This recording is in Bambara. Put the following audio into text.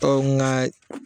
Tɔn nga ye